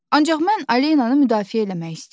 Ancaq mən Alenanı müdafiə eləmək istəyirdim.